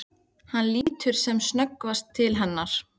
Hann lítur sem snöggvast til hennar.